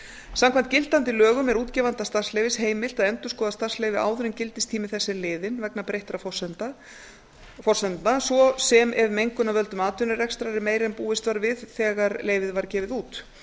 samkvæmt gildandi lögum er útgefanda starfsleyfis heimilt að endurskoða starfsleyfi áður en gildistími þess er liðinn vegna breyttra forsenda svo sem ef mengun af völdum atvinnurekstrar er meiri en búist var við þegar leyfið var gefið út